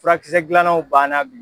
Furakisɛ dilannaw banna bi.